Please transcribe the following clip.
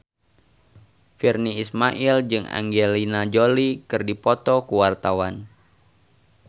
Virnie Ismail jeung Angelina Jolie keur dipoto ku wartawan